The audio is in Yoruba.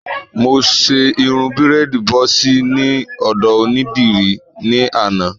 Mo ṣe irun bírèèdì bọ́ọ̀sì ní ọ̀dọ̀ onídìrí ní àná